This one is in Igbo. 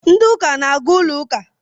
Ndị uka na-aga ụlọ ụka